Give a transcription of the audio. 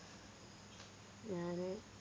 ഞാന്